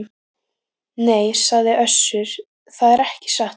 Nei, sagði Össur, það er ekki satt.